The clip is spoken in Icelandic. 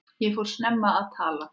Ég fór snemma að tala.